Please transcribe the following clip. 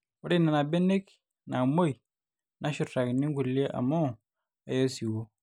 ore nena benek naamwei neshurtaki inkulie amu eya osiwuo